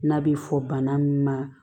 N'a bɛ fɔ bana min ma